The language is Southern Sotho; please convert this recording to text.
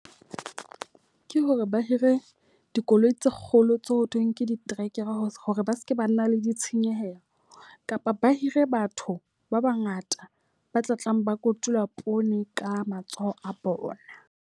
Ke hore ba hire dikoloi tse kgolo tse ho thweng ke ditrekere hore ba seke ba nna le ditshenyehelo. Kapa ba hire batho ba ba ngata ba tla tlang ba kotula poone ka matsoho a bona.